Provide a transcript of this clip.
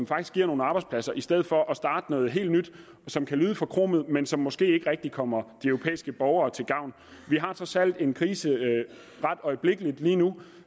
faktisk giver nogle arbejdspladser i stedet for at starte noget helt nyt som kan lyde forkromet men som måske ikke rigtig kommer de europæiske borgere til gavn vi har trods alt en krise lige nu